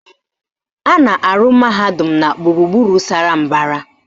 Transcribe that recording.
A na-arụ mahadum na gburugburu sara mbara